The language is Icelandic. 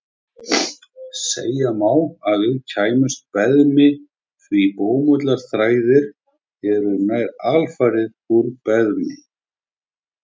Segja má að við klæðumst beðmi því bómullarþræðir eru nær alfarið úr beðmi.